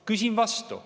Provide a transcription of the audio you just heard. Küsin vastu.